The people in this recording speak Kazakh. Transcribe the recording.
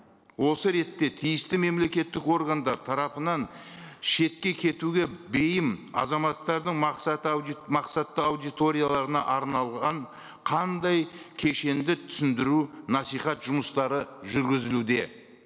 осы ретте тиісті мемлекеттік органдар тарапынан шетке кетуге бейім азаматтардың мақсат мақсатты аудиторияларына арналған қандай кешенді түсіндіру насихат жұмыстары жүргізілуде